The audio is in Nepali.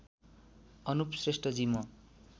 अनुप श्रेष्ठजी म